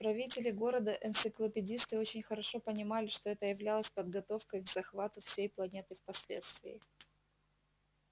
правители города энциклопедисты очень хорошо понимали что это являлось подготовкой к захвату всей планеты впоследствии